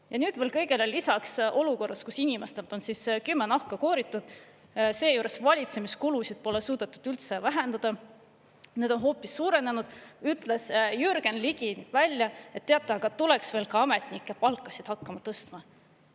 Ja nüüd veel kõigele lisaks olukorras, kus inimestelt on kümme nahka kooritud, seejuures valitsemiskulusid pole suudetud üldse vähendada, need on hoopis suurenenud, ütles Jürgen Ligi välja, et teate, aga tuleks veel ka ametnike palkasid hakata tõstma.